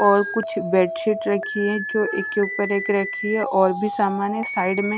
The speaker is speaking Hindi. और कुछ बेडशीट रखी है जो एक के ऊपर एक रखी है और भी सामान है साइड में--